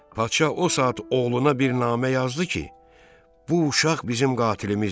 Padşah o saat oğluna bir namə yazdı ki, bu uşaq bizim qatilimizdir.